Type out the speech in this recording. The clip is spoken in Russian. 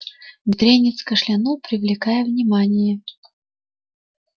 бедренец кашлянул привлекая внимание